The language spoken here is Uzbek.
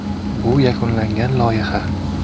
Bu yakunlangan loyiha.